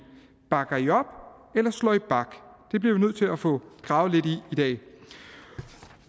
bakker i op eller slår i bak det bliver vi nødt til at få gravet lidt i